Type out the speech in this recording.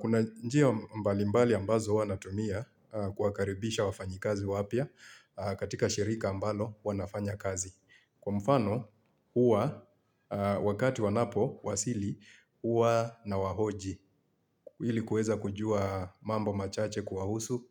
Kuna njia mbalimbali ambazo huwa natumia kuwakaribisha wafanyikazi wapya katika shirika ambalo wanafanya kazi. Kwa mfano huwa wakati wanapowasili huwa nawahoji. Ili kuweza kujua mambo machache kuwahusu